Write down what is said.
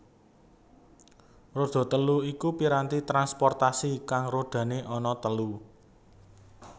Roda telu iku piranti transportasi kang rodane ana telu